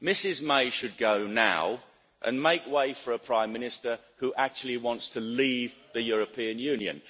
Mrs May should go now and make way for a prime minister who actually wants to leave the European Union.